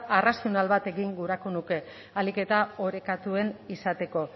arrazional bat egin gurako nuke ahalik eta orekatuen izateko